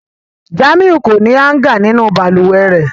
Jamiu ko ni hanga ninu baluwe rẹ.